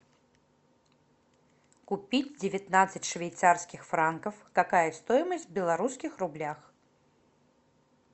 купить девятнадцать швейцарских франков какая стоимость в белорусских рублях